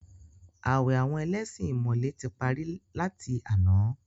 Àwẹ̀ àwọn ẹlẹ́ṣin ìmọ̀le tí parí láti àná.